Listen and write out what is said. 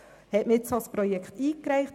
Wurde ein solches Projekt eingereicht?